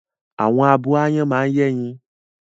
Àwọn abo áyán máa ń yẹ́yin